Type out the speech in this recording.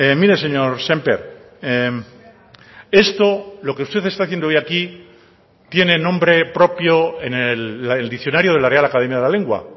mire señor sémper esto lo que usted está haciendo hoy aquí tiene nombre propio en el diccionario de la real academia de la lengua